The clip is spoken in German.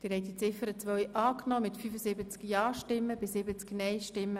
Sie haben die Ziffer 2 angenommen.